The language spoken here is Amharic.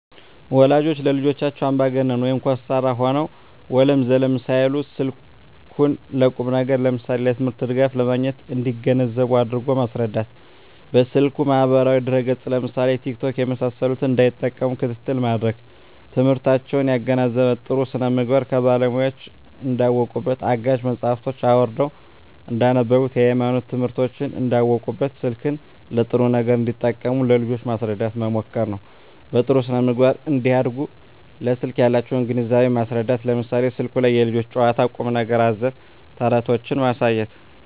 ወላጆች ለልጆቻቸው አምባገነን (ኮስታራ) ሆነው ወለም ዘለም ሳይሉ ስልኩን ለቁም ነገር ለምሳሌ ለትምህርት ድጋፍ ለማግኘት እንዲገነዘቡ አድርጎ ማስረዳት። በስልኩ ማህበራዊ ድረ ገፅ ለምሳሌ ቲክቶክ የመሳሰሉትን እንዳይጠቀሙ ክትትል ማድረግ። ትምህርታቸውን ያገናዘበ , ጥሩ ስነምግባር ከባለሙያወች እንዳውቁበት , አጋዥ መፅሀፎችን አውርደው እንዳነቡብት, የሀይማኖት ትምህርቶችን እንዳውቁበት , ስልክን ለጥሩ ነገር እንዲጠቀሙ ለልጆች ማስረዳት መምከር ነው። በጥሩ ስነ-ምግባር እንዲያድጉ ለስልክ ያላቸውን ግንዛቤ ማስረዳት ለምሳሌ ስልኩ ላይ የልጆች ጨዋታ ቁም ነገር አዘል ተረቶችን ማሳየት